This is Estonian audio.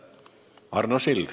Arno Sild.